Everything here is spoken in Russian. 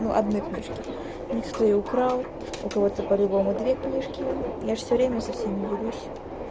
ну одной книжке некоторые украл у кого-то по-любому две книжки я же все время со всеми делюсь